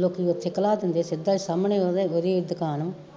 ਲੋਕੀਂ ਓਥੇ ਖਲਾ ਦਿੰਦੇ ਸਿੱਧਾ ਸਾਮਣੇ ਓਦੀ ਦੁਕਾਨ ਮੇ